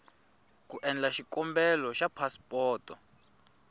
ku endla xikombelo xa phasipoto